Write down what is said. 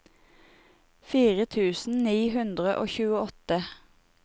fire tusen ni hundre og tjueåtte